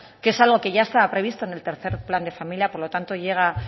que es algo que ya estaba previsto en el tercero plan de familia por lo tanto llega